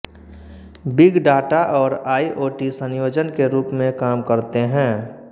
big data और IoT संयोजन के रूप में काम करते हैं